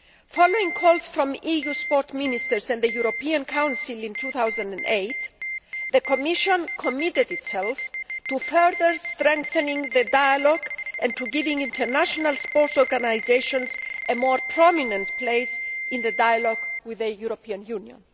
Following calls from EU sports ministers and the European Council in 2008, the Commission committed itself to further strengthening the dialogue and to giving international sports organisations a more prominent place in the dialogue with the European Union.